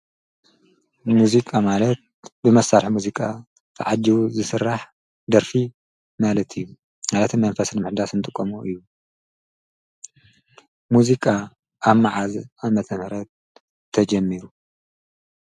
ሙዚቃ ማለት ብመሳርሒ ሙዚቃ ተዓጂቡ ዝስራሕ ደርፊ ማለት እዩ ማለት እውን ምኽንያቱ መንፈስ ንምሕዳስ እንጥቀሞ እዩ። ሙዚቃ ኣብ መዓዝ ዓመተ ምህረት ተጀሚሩ?